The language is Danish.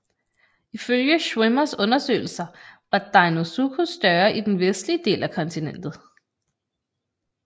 Ifølge Schwimmers undersøgelser var Deinosuchus større i den vestlige del af kontinentet